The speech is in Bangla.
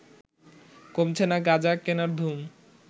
কমছে না গাঁজা কেনার ধুম